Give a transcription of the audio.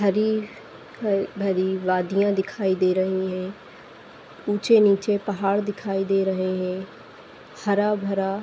हरी ह भरी वादियां दिखाई दे रही हैं। ऊँचे नीचे पहाड़ दिखाई दे रहे हैं। हरा-भरा --